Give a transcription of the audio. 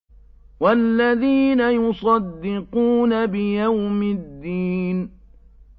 وَالَّذِينَ يُصَدِّقُونَ بِيَوْمِ الدِّينِ